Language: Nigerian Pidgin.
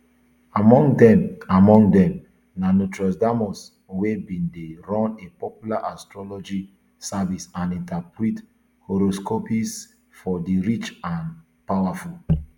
among dem among dem na nostradamus wey bin dey run a popular astrology service and interpret horoscopes for di rich and powerful